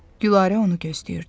Gülarə onu gözləyirdi.